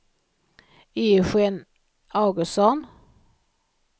Eugén Augustsson